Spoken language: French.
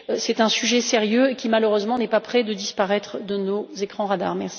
C'est un sujet sérieux et qui, malheureusement, n'est pas près de disparaître de nos écrans radars.